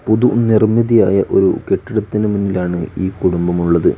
പുതു നിർമ്മിതിയായ ഒരു കെട്ടിടത്തിനു മുന്നിലാണ് ഈ കുടുംബം ഉള്ളത്.